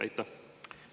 Aitäh!